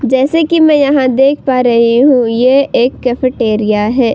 जैसे कि मैं यहाँ देख पा रही हूं ये एक कैफेटेरिया है।